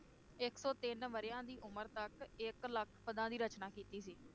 ਇਕ ਸੌ ਤਿੰਨ ਵਰ੍ਹਿਆਂ ਦੀ ਉਮਰ ਤਕ ਇਕ ਲਖ ਪਦਾਂ ਦੀ ਰਚਨਾ ਕੀਤੀ ਸੀ